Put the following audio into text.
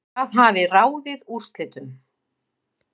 Það hafi ráðið úrslitum